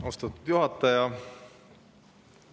Austatud juhataja!